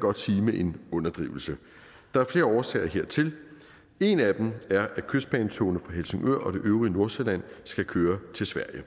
godt sige med en underdrivelse der er flere årsager hertil en af dem er at kystbanetogene fra helsingør og det øvrige nordsjælland skal køre til sverige